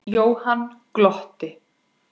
Jóhann glotti.